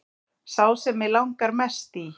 Sá sem mig langar mest í